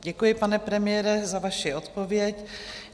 Děkuji pane premiére, za vaši odpověď.